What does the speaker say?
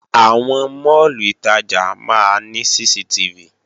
Àwọn máàlù ìtajà máa ní CCTV